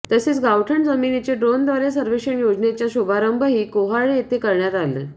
तसेच गावठाण जमिनीचे ड्रोनद्वारे सर्वेक्षण योजनेचा शुभारंभही कोर्हाळे येथे करण्यात